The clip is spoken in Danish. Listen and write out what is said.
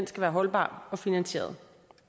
skal være holdbar og finansieret